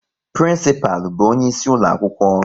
Prinsipal bụ onye isi ulo akwụkwọ